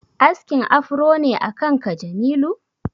Askin afro ne akan ka Jamilu?